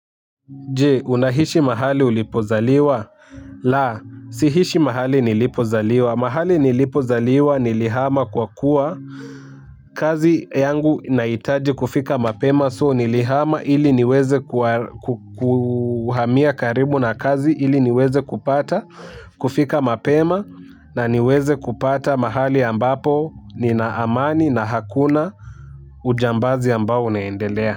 Je, unaishi mahali ulipozaliwa? La, si ishi mahali nilipozaliwa. Mahali nilipozaliwa nilihama kwa kuwa. Kazi yangu inahitaji kufika mapema so nilihama ili niweze kuhamia karibu na kazi ili niweze kupata. Kufika mapema na niweze kupata mahali ambapo nina amani na hakuna ujambazi ambao unaendelea.